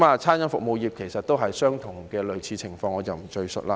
餐飲服務業其實也是類似情況，我不贅述了。